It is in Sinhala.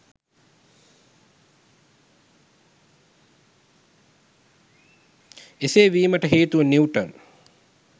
එසේ වීමට හේතුව නිවුටන්